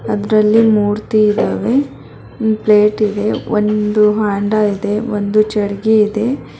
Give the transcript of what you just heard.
ಅದ್ರಲ್ಲಿ ಮೂರ್ತಿ ಇದವೆ ಒಂದು ಪ್ಲೇಟ್ ಇದೆ ಒಂದು ಹಾಂಡ ಇದೆ ಒಂದು ಜಡ್ಗಿ ಇದೆ.